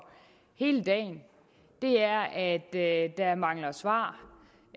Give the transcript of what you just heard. hele dagen er at der mangler svar